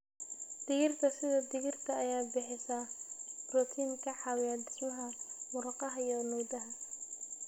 Digirta sida digirta ayaa bixisa borotiin ka caawiya dhismaha murqaha iyo nudaha.